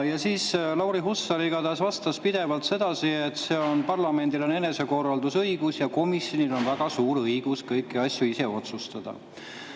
Siis Lauri Hussar igatahes vastas pidevalt sedasi, et parlamendil on enesekorraldusõigus ja komisjonil on väga suur õigus kõiki asju ise otsustada.